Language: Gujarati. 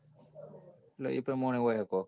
એટલે એ પરાણે હોય આતો.